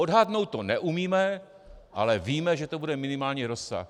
Odhadnout to neumíme, ale víme, že to bude minimální rozsah.